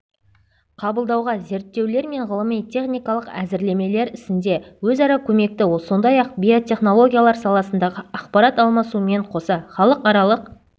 қабылдауға зерттеулер мен ғылыми-техникалық әзірлемелер ісінде өзара көмекті сондай-ақ биотехнологиялар саласындағы ақпарат алмасумен қоса халықаралық